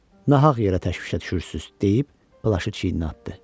Nahaq yerə təşvişə düşürsüz, - deyib plaşı çiyininə atdı.